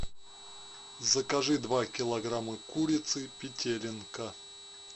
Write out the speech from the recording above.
закажи два килограмма курицы петелинка